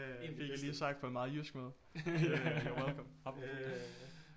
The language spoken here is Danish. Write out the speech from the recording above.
Fik jeg lige sagt på en meget jysk måde you're welcome